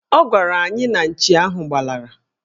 Ọ gwara anyị na nchi ahụ gbalara